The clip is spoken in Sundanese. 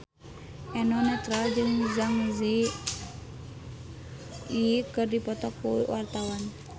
Eno Netral jeung Zang Zi Yi keur dipoto ku wartawan